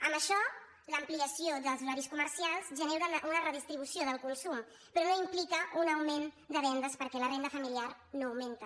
amb això l’ampliació dels horaris comercials genera una redistribució del consum però no implica un augment de vendes perquè la renda familiar no augmenta